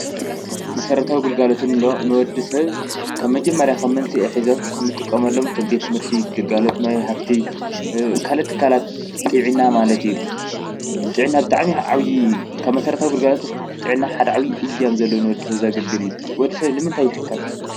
መሰረታዊ ግልጋሎት ንብሎ ንወዲ ሰብ ካብ መጀመርያ ኸም መንስኤ ሒዞም እንጥቆመሎም ከም ቤት ትምህርቲ፣ ግልጋሎት ማይ ሃፍቲ፣ ካልኦት ትካላት ጥዕና ማለት እዩ፡፡ ጥዕና ኣብ ብጣዕሚ ዓብዪ ካብ መሠረታዊ ግልጋሎት ጢዕና ሓደ ዓብዪ እጃም ዘለዎ ንወዲ ሰብ ዛግልግል እዩ፡፡ ወዲ ሰብ ንምንታይ ይሕከም?